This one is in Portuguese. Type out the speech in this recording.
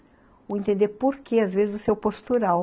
Entender por que, às vezes, o seu postural.